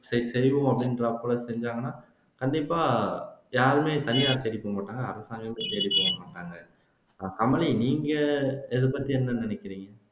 சரி செய்வோம் அப்படின்றாப்ல செய்தாங்கன்னா கண்டிப்பா யாருமே தனியாரை தேடி போகமாட்டாங்க அரசாங்கத்த தேடி போகமாட்டாங்க அஹ் மோனி நீங்க இதப்பத்தி என்ன நினைக்கிறீங்க